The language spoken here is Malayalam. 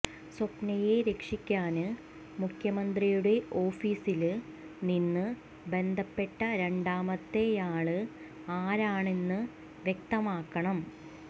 സ്വപ്നയെ രക്ഷിക്കാന് മുഖ്യമന്ത്രിയുടെ ഓഫീസില് നിന്ന് ബന്ധപ്പെട്ട രണ്ടാമത്തെയാള് ആരാണന്ന് വ്യക്തമാക്കണം